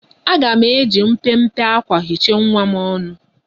Aga m eji mpempe akwa hichaa nwa m ọnụ.